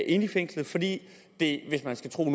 inde i fængslet fordi det hvis man skal tro